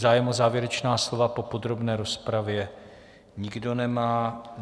Zájem o závěrečná slova po podrobné rozpravě nikdo nemá.